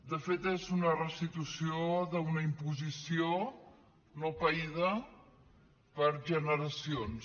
de fet és una restitució d’una imposició no païda per generacions